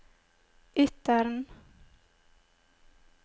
Ytteren